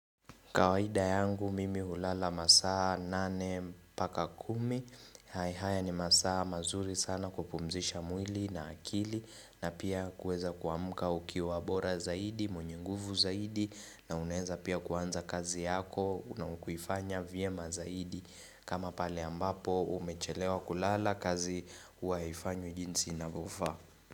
Kawaida yangu mimi hulala masaa nane mpaka kumi. Hai haya ni masaa mazuri sana kupumzisha mwili na akili na pia kuweza kuamka ukiwa bora zaidi, mwenye nguvu zaidi na unaweza pia kuanza kazi yako na kuifanya vyema zaidi. Kama pale ambapo umechelewa kulala kazi hua haifanywi jinsi inavyofaa.